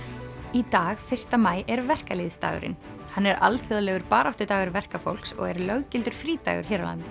í dag fyrsta maí er hann er alþjóðlegur baráttudagur verkafólks og er löggildur frídagur hér á landi